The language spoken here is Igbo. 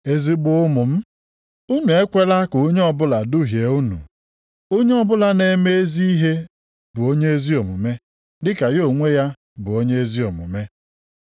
Ezigbo ụmụ m, unu ekwela ka onye ọbụla duhie unu, onye ọbụla na-eme ezi ihe bụ onye ezi omume dị ka ya onwe ya bụ onye ezi omume.